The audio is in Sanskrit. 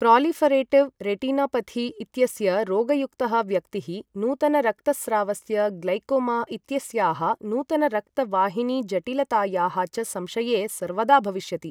प्रालिफ़रेटिव् रेटनापथि इत्यस्य रोगयुक्तः व्यक्तिः नूतनरक्तस्रावस्य, ग्लैकोमा इत्यस्याः नूतनरक्तवाहिनीजटिलतायाः च संशये सर्वदा भविष्यति।